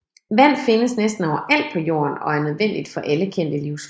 Vand findes næsten overalt på Jorden og er nødvendigt for alle kendte livsformer